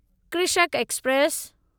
Krishak express